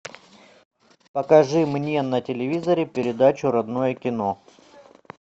покажи мне на телевизоре передачу родное кино